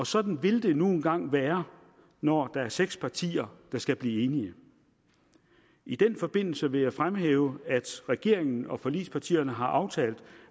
sådan vil det nu engang være når der er seks partier der skal blive enige i den forbindelse vil jeg fremhæve at regeringen og forligspartierne har aftalt